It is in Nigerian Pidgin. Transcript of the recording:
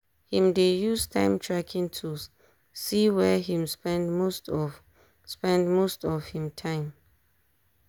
him dey use time tracking tools see where him spend most of spend most of him time.